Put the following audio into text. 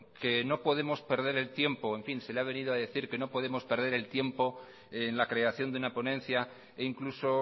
que no podemos perder el tiempo se le ha venido a decir que no podemos perder el tiempo en la creación de una ponencia e incluso